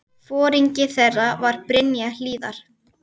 Foringi þeirra var Brynja Hlíðar.